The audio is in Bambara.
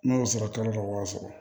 N'a y'o sɔrɔ kalo dɔ b'a sɔrɔ